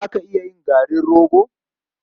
Za ka iya yin garin rogo?